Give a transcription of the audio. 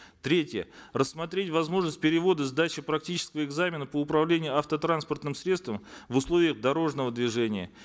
третье рассмотреть возможность перевода сдачи практического экзамена по управлению автотранспортным средством в условиях дорожного движения